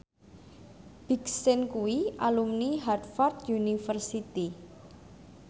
Big Sean kuwi alumni Harvard university